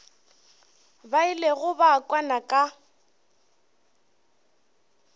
ba ilego ba kwana ka